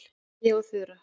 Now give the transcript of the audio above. Mæja og Þura